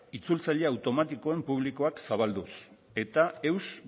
itzultzaile automatikoen publikoak zabalduz eta eus